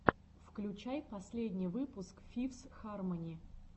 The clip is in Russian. включай последний выпуск фифс хармони